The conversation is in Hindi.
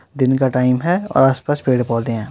दिन का टाइम है और आसपास पेड़ पोधे है।